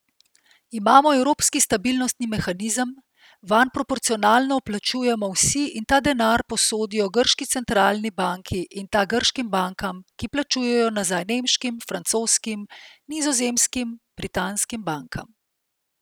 Imamo evropski stabilnostni mehanizem, vanj proporcionalno vplačujemo vsi in ta denar posodijo grški centralni banki in ta grškim bankam, ki plačujejo nazaj nemškim, francoskim, nizozemskim, britanskim bankam.